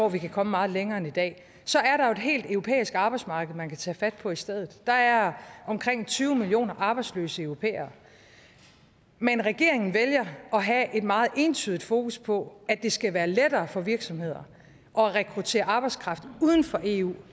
at vi kan komme meget længere end i dag så er der jo et helt europæisk arbejdsmarked man kan tage fat på i stedet der er omkring tyve millioner arbejdsløse europæere men regeringen vælger at have et meget ensidigt fokus på at det skal være lettere for virksomheder at rekruttere arbejdskraft uden for eu